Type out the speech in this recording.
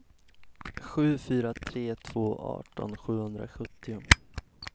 sju fyra tre två arton sjuhundrasjuttio